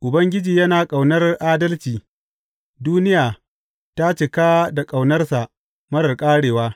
Ubangiji yana ƙaunar adalci duniya ta cika da ƙaunarsa marar ƙarewa.